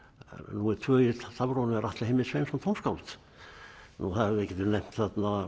númer tvö í stafrófinu er Atli Heimir Sveinsson tónskáld nú við getum nefnt